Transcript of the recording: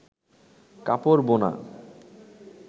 কাপড় বোনা